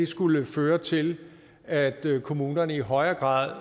skulle føre til at kommunerne i højere grad